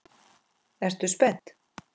Ertu spennt?